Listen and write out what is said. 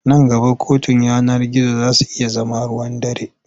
Nan gaba kotun yanar gizo za su iya zama ruwan dare.